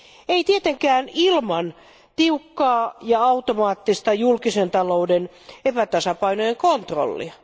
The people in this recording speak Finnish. Ei tietenkään ilman tiukkaa ja automaattista julkisen talouden epätasapainojen kontrollia.